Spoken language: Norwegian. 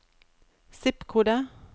zip-kode